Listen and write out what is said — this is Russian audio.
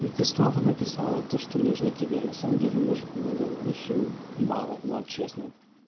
и ты снова написала то что нужно тебе на самом деле мужику надо очень мало ну вот честно